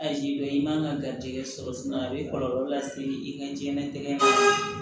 A ji bɛ i man ka garijɛgɛ sɔrɔ a bɛ kɔlɔlɔ lase i ka diɲɛlatigɛ ma